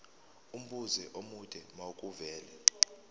umbuzo omude makuvele